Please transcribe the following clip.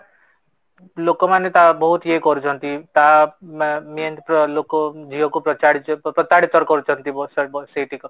ଲୋକ ମାନେ ତା ବହୁତ ୟେ କରୁଛନ୍ତି ତା main ଲୋକ ଝିଅ କୁ ପଚାରିଛ ପ୍ରତାରିତର କରୁଛନ୍ତି ସେଇଠି